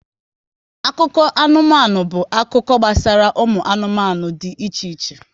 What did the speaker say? Akụkọ anụmanụ bụ akụkọ gbasara ụmụ anụmanụ dị iche iche